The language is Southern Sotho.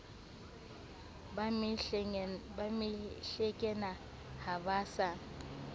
ba mehlengena ha ba sa